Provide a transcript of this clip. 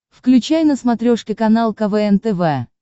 включай на смотрешке канал квн тв